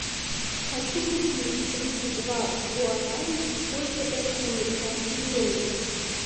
хочу купить тридцать два гуарани сколько это в американских долларах